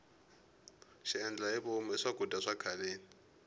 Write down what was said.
xiendlahivomu i swakudya swa khaleni